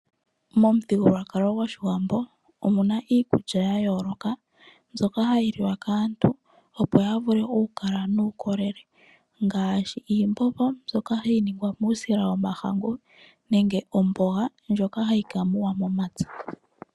Momuthigululwakalo gOshiwambo omu na iikulya ya yooloka mbyoka hayi liwa kaantu opo ya vule okukala nuukolele, ngaashi iimbombo mbyoka hayi ningwa muusila womahangu nenge omboga ndjoka hayi ka muwa momapya.